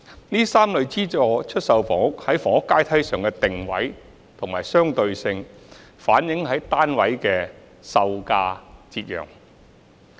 這3類資助出售房屋在房屋階梯上的定位和相對性，反映於單位的售價折讓。